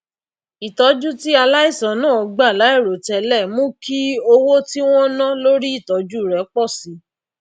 ìtójú tí aláìsàn náà gbà láìròtélè mú kí owó tí wón ná lórí ìtójú rè pò sí